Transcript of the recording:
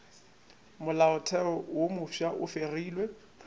molaotheo wo mofsa e fegilwe